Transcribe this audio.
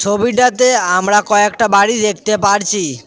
ছবিটাতে আমরা কয়েকটা বাড়ি দেখতে পারছি।